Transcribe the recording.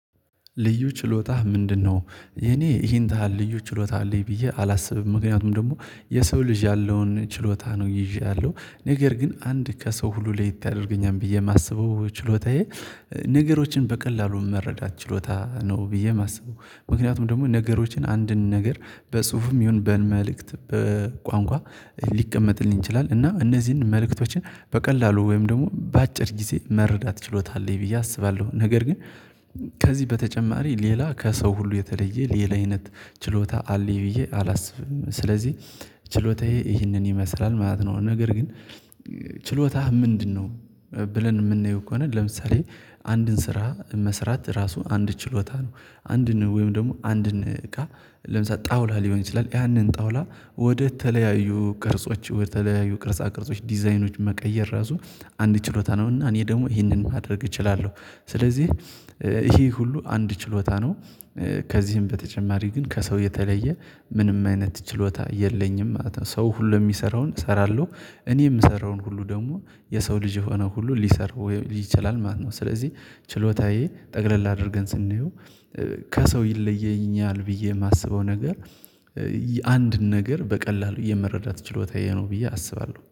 ልዩ ችሎታህ ምንድነው? የኔ ይሄን ታህል ልዩ ችሎታ አለኝ ብዬ አላስብም። ምክንያቱም ደግሞ የሰው ልጅ ያለውን ችሎታ ነው ይዠ ያለሁ። ነገር ግን አንድ ከሰው ሁሉ ለየት ያደርገኛል ብዬ የማስበው ችሎታዬ ነገሮችን በቀላሉ መረዳት ችሎታ ነው ብዬ የማስበው። ምክንያቱም ደግሞ ነገሮችን አንድን ነገር በጽሁፍም ይሁን በመልእክት በቋንቋ ሊቀመጥልኝ ይችላል። እና እነዚህን መልእክቶችን በቀላሉ ወይም ደግሞ በአጭር ጊዜ መረዳት ችሎታ አለኝ ብዬ አስባለሁ። ነገር ግን ከዚህ በተጨማሪ ሌላ ከሰው ሁሉ የተለየ ሌላ አይነት ችሎታ አለኝ ብዬ አላስብም። ስለዚህ ችሎታዬ ይህንን ይመስላል ማለት ነው። ነገር ግን ችሎታህ ምንድነው ብለን የምናየው ከሆነ ለምሳሌ አንድን ስራ መስራት ራሱ አንድ ችሎታ ነው። አንድን ወይም ደግሞ አንድን እቃ ለምሳሌ ጣውላ ሊሆን ይችላል ያንን ጣውላ ወደተለያዩ ቅርጾች ወደተለያዩ ቅርጻ ቅርጾች ዲዛይኖች መቀየር ራሱ አንድ ችሎታ ነው። እና እኔ ደግሞ ይሄንን ማድረግ እችላለሁ። ስለዚህ ይሄ ሁሉ አንድ ችሎታ ነው። ከዚህም በተጨማሪ ግን ከሰው የተለየ ምንም አይነት ችሎታ የለኝም ማለት ነው። ሰው ሁሉ የሚሰራውን እሰራለሁ። እኔ የምሰራውን ሁሉ ደግሞ የሰው ልጅ የሆነ ሁሉ ሊሰራው ይችላል ማለት ነው። ስለዚህ ችሎታዬ ጠቅለል አድርገን ስናየው ከሰው ይለየኛል ብዬ የማስበው ነገር አንድ ነገር በቀላሉ የመረዳት ችሎታዬ ነው ብዬ አስባለሁ።